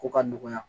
Ko ka nɔgɔya